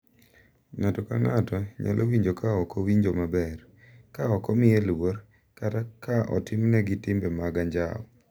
Ng’ato ka ng’ato nyalo winjo ka ok owinjo maber, ka ok omiye luor, kata ka otimnegi timbe mag anjao.